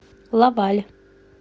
лаваль